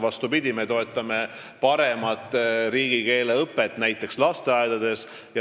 Vastupidi, me toetame paremat riigikeeleõpet näiteks lasteaedades.